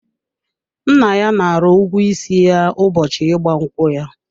Nna ya nara ụgwọ isi ya ụbọchị ịgba nkwụ ya.